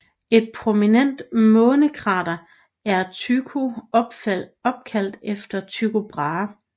Et prominent månekrater er Tycho opkaldt efter Tycho Brahe